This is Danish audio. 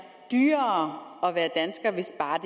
dyrere at være dansker hvis bare